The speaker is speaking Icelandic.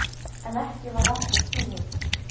En ekki varð aftur snúið.